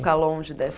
Ficar longe